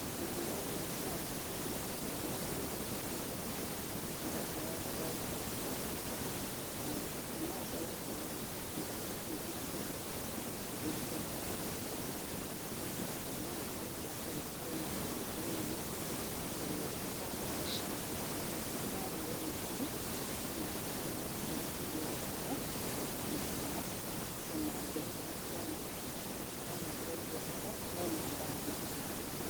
Wĩmwega ndagĩtari? Ngoretwo ngĩkorora na ndakorora ndiraruta gĩkorora. Na no ngoretwo ngĩigua ruo gĩthũri, gĩthũri gĩakwa hĩndĩ ĩrĩa ndĩrahihia, ngaigua nĩ ndĩraigua karuo karauma nahau thĩiniĩ, karuo ka sharp karuo kena ruo rũingĩ na ngakorwo nĩndĩraigua heho ngainaina mũno, ona ndekĩra burana ngakorwo nĩndĩraigua heho no nĩndĩrathigina.